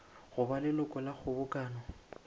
go ba leloko la kgobokano